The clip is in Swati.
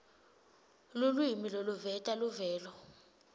lulwimi loluveta luvelo